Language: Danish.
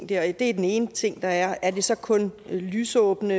det er er den ene ting der er er det så kun lysåbne